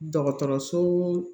Dɔgɔtɔrɔso